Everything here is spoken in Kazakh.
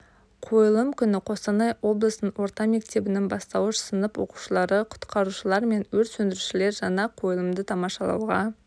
қойылым күні қостанай облысының орта мектебінің бастауыш сынып оқушылары құтқарушылар мен өрт сөндірушілер жаңа қойылымды тамашалауға